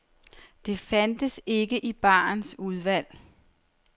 Det fandtes ikke i barens udvalg.